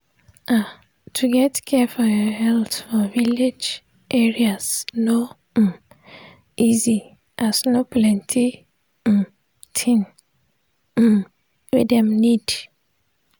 ah to get care for your health for village area no um easy as no plenti um thing um wey dem need.